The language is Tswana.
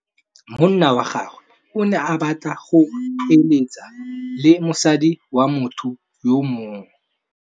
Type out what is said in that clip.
Monna wa gagwe o ne a batla go êlêtsa le mosadi wa motho yo mongwe.